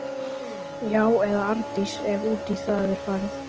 Já- eða Arndís, ef út í það er farið.